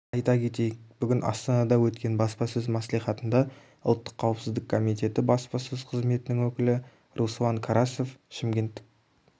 ата кетейік бүгін астанада өткен баспасөз мәслихатында ұлттық қауіпсіздік комитеті баспасөз қызметінің өкілі руслан карасев шымкенттік